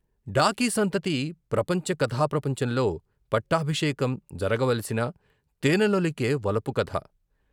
డాకీ సంతతి, ప్రపంచ కథా ప్రపంచంలో పట్టాభిషేకం జరగవలసిన తేనెలొలికే వలపు కథ.